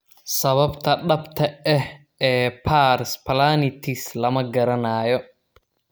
Sababta dhabta ah ee dhabta ah ee pars planitis lama garanayo.